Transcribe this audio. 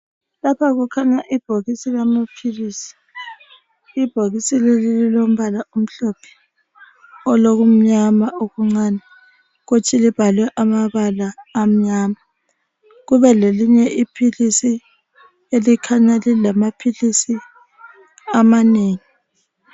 Lapha kukhanya ibhokisi lamaphilisi ibhokisi leli lilombala omhlophe olokumnyama okuncane kuthi libhalwe amabala amnyama kube lelinye iphilisi elikhanya lilamaphilisi amanengi.